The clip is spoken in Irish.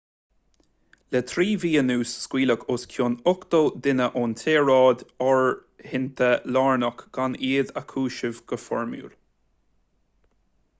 le 3 mhí anuas scaoileadh os cionn 80 duine ón tsaoráid áirithinte lárnach gan iad a chúiseamh go foirmiúil